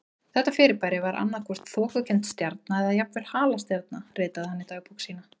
Þetta fyrirbæri var annað hvort þokukennd stjarna eða jafnvel halastjarna ritaði hann í dagbók sína.